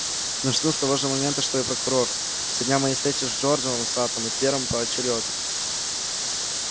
начну с того же момента что и прокурор со дня моей встречи с джораном саттом и твером поочерёдно